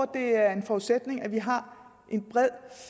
det er en forudsætning at vi har en bred